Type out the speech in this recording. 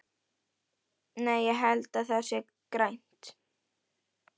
Nei, ég held að það sé grænt.